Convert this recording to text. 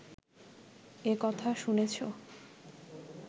এ কথা শুনেছ